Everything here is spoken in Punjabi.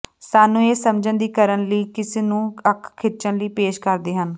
ਸਾਨੂੰ ਇਹ ਸਮਝਣ ਦੀ ਕਰਨ ਲਈ ਕਿਸ ਨੂੰ ਅੱਖ ਖਿੱਚਣ ਲਈ ਪੇਸ਼ ਕਰਦੇ ਹਨ